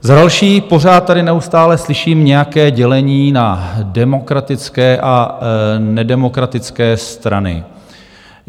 Za další, pořád tady... neustále slyším nějaké dělení na demokratické a nedemokratické strany.